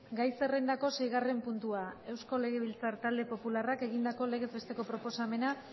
gai zerrendako seigarren puntua euskal legebiltzar talde popularrak egindako legez besteko proposamena